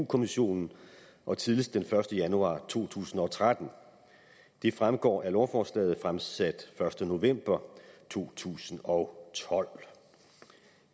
kommissionen og tidligst den første januar to tusind og tretten det fremgår af lovforslaget fremsat første november to tusind og tolv